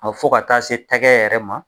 fɔ ka taa se tɛkɛ yɛrɛ ma.